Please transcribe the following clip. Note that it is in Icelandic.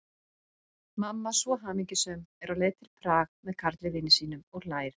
Mamma svo hamingjusöm, er á leið til Prag með Karli vini sínum, og hlær.